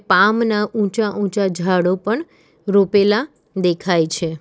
પામના ઊંચા ઊંચા જાળો પણ રોપેલા દેખાય છે.